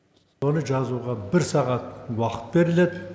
оны жазуға бір сағат уақыт беріледі